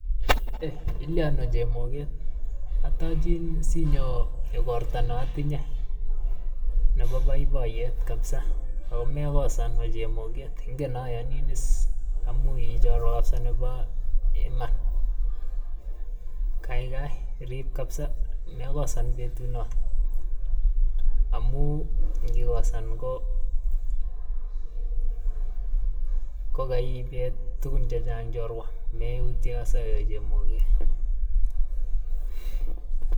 Eeh ilyon ooh chemoget. Atochin si inyo ikorta na atinye nebo boiboyet kabisa. Amekosan we chemoget ingen ayanin is amu ii chorwa kabisa nebo iman. Kaikai irib kabisa mekosan betu noto, amu ngikosan ko ko kaiket tukun checheng chorwa. Mautien kabisa we chemoget